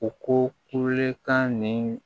U ko kulekan nin